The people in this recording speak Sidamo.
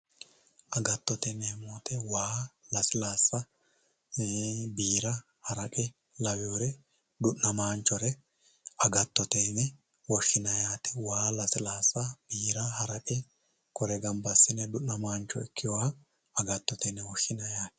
agattote yineemmo woyte waa, lasilaasa, biira, haraqe laweere du'namaanchore agattote yine woshshineemmo waa lasilaasa biira haraqe kuri baala gamba assine du'namaancho ikkeha agattote yine wosshshinanni.